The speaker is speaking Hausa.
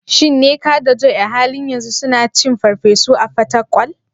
Shin Nneka da Joy a halin yanzu suna cin farfesu a Fatakwal?